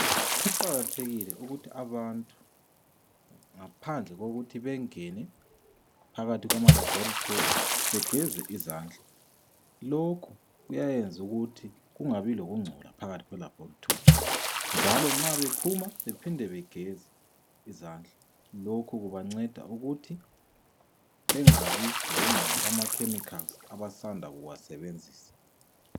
Kuqakathekile ukuthi abantu ngaphandle kokuthi bengene phakathi kwamalabhorethi begeze izandla. Lokhu kuyayenza ukuthi kungabi lokungcola phakathi kwelabhorethi njalo nxa bephuma bephinde begeze izandla .Lokhu kubanceda ukuthi bengabi lokungcola kwamakhemikhali abasanda kuwasebenzisa.